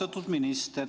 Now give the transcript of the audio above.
Austatud minister!